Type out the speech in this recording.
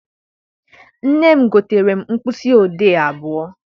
Nne m gotere m mkpịsị odee abụọ.